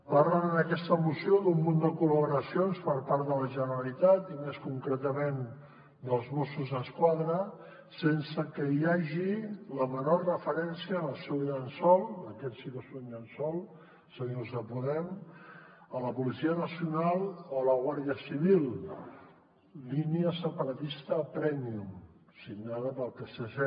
parlen en aquesta moció d’un munt de col·laboracions per part de la generalitat i més concretament dels mossos d’esquadra sense que hi hagi la menor referència en el seu llençol aquest sí que és un llençol senyors de podem a la policia nacional o a la guàrdia civil línia separatista prèmium signada pel psc